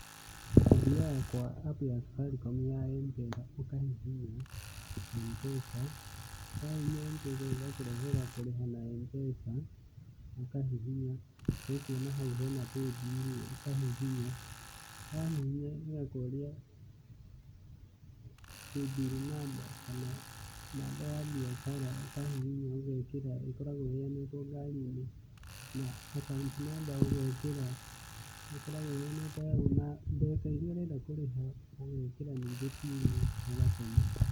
Ũthiaga kwa app ya Safaricom ya M-Pesa, ũkahihinya M-Pesa. Wahihinya M-Pesa ĩgakũrehera kũrĩha na M-Pesa ũkahihinya, nĩ ũkuona hau hena Paybill, ũkahihinya. Wahihinya ĩgakũria Paybill namba kana namba ya biacara, ukahihinya ũgekĩra ĩkoragwo ĩheanĩtwo ngari-inĩ, akaunti namba ũgekira, ĩkoragwo iheanitwo hau na mbeca iria ũrenda kũrĩha, ugekira ningĩ mbini ũgatũma.